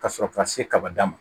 Ka sɔrɔ ka se kaba dan ma